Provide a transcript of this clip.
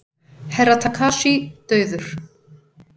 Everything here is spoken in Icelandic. Herra Takashi dauður!